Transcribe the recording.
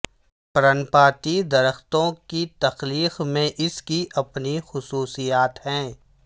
پرنپاتی درختوں کی تخلیق میں اس کی اپنی خصوصیات ہیں